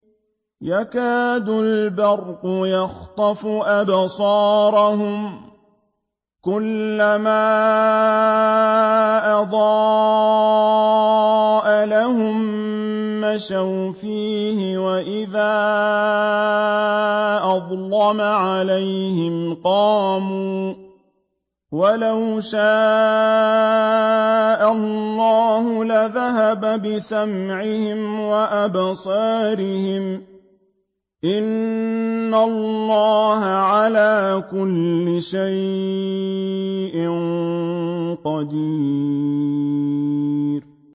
يَكَادُ الْبَرْقُ يَخْطَفُ أَبْصَارَهُمْ ۖ كُلَّمَا أَضَاءَ لَهُم مَّشَوْا فِيهِ وَإِذَا أَظْلَمَ عَلَيْهِمْ قَامُوا ۚ وَلَوْ شَاءَ اللَّهُ لَذَهَبَ بِسَمْعِهِمْ وَأَبْصَارِهِمْ ۚ إِنَّ اللَّهَ عَلَىٰ كُلِّ شَيْءٍ قَدِيرٌ